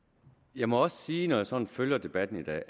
jeg må også sige at når jeg sådan følger debatten i dag